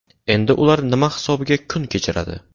Endi ular nima hisobiga kun kechiradi?.